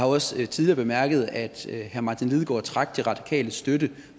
også tidligere bemærket at herre martin lidegaard trak de radikales støtte